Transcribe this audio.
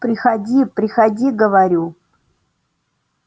приходи приходи говорю